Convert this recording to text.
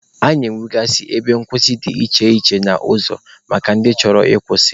A na-enwekwa ebe nkwụsị dị iche iche n'ụzọ maka ndị chọrọ ịkwụsị.